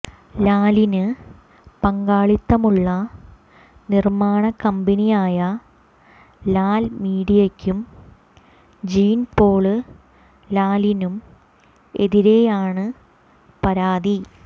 ലാലിന് പങ്കാളിത്തമുള്ള നിര്മ്മാണക്കമ്പനിയായ ലാല് മീഡിയയ്ക്കും ജീന്പോള് ലാലിനും എതിരെയാണ് പരാതി